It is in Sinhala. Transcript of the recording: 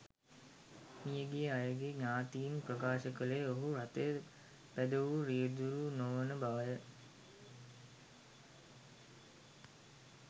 මියගිය අයගේ ඥාතීන් ප්‍රකාශ කළේ ඔහු රථය පැදවූ රියදුරු නොවන බවය.